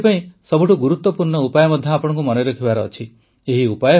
ଏଥିପାଇଁ ସବୁଠୁ ଗୁରୁତ୍ୱପୂର୍ଣ୍ଣ ଉପାୟ ମଧ୍ୟ ଆପଣଙ୍କୁ ମନେରଖିବାର ଅଛି